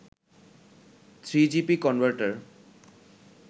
3gp converter